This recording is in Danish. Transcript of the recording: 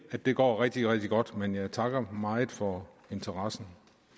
det går rigtig rigtig godt men jeg takker meget for interessen